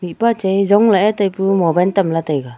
mihpa chai ee zongla ee tai pu ee mobine tam la taiga.